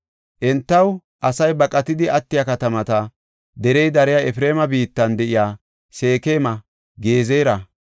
Entaw asay baqatidi attiya katamata, derey dariya Efreema biittan de7iya Seekema, Gezera,